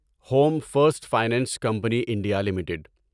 home first finance company India limited